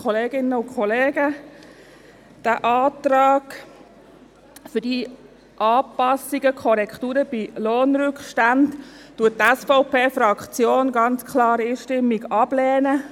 Diesen Antrag auf Anpassung und Korrekturen bei Lohnrückständen lehnt die SVP-Fraktion einstimmig ab.